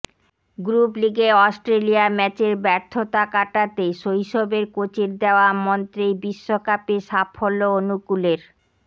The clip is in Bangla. গ্রুপ লিগে অস্ট্রেলিয়া ম্যাচের ব্যর্থতা কাটাতে শৈশবের কোচের দেওয়া মন্ত্রেই বিশ্বকাপে সাফল্য অনুকূলের